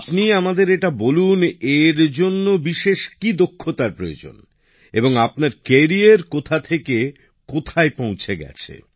আপনি আমাদের এটা বলুন এর জন্য বিশেষ কি দক্ষতার প্রয়োজন এবং আপনার ক্যারিয়ার কোথা থেকে কোথায় পৌঁছে গেছে